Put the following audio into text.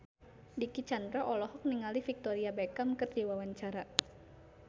Dicky Chandra olohok ningali Victoria Beckham keur diwawancara